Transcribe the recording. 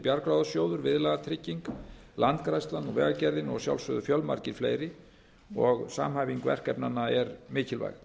bjargráðasjóður viðlagatrygging landgræðslan vegagerðin og að sjálfsögðu fjölmargir fleiri og samhæfing verkefnanna er mikilvæg